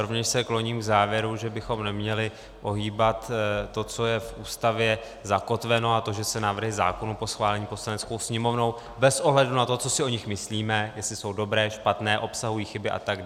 Rovněž se kloním k závěru, že bychom neměli ohýbat to, co je v Ústavě zakotveno, a to, že se návrhy zákonů po schválení Poslaneckou sněmovnou - bez ohledu na to, co si o nich myslíme, jestli jsou dobré, špatné, obsahují chyby atd.